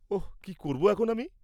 ওঃ! কি করব এখন আমি?